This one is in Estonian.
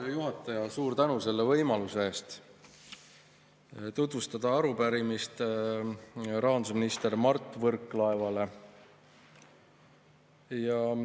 Hea juhataja, suur tänu selle võimaluse eest tutvustada arupärimist rahandusminister Mart Võrklaevale!